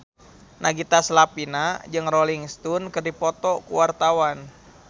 Nagita Slavina jeung Rolling Stone keur dipoto ku wartawan